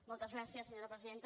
moltes gràcies senyora presidenta